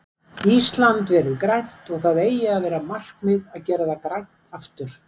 Ísland verið grænt og það eigi að vera markmið að gera það grænt aftur.